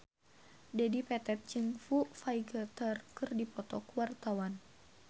Dedi Petet jeung Foo Fighter keur dipoto ku wartawan